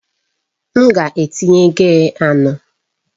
M ga-etinye gia anọ.